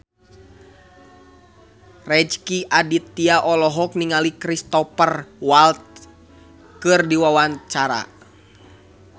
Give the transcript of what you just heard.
Rezky Aditya olohok ningali Cristhoper Waltz keur diwawancara